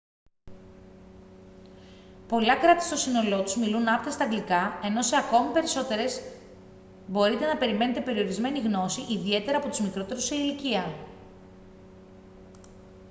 πολλά κράτη στο σύνολό τους μιλούν άπταιστα αγγλικά ενώ σε ακόμη περισσότερες μπορείτε να περιμένετε περιορισμένη γνώση ιδιαίτερα από τους μικρότερους σε ηλικία